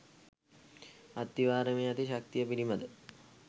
අත්තිවාරමේ ඇති ශක්තිය පිළිබඳ